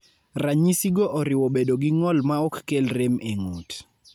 Ranyisigo oriwo bedo gi ng'ol maok kel rem e ng'ut.